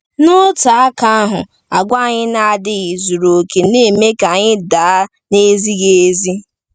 N’otu aka ahụ, àgwà anyị na-adịghị zuru oke na-eme ka anyị daa n’ezighi ezi.